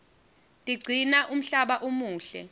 tiqcina umhlaba umuhle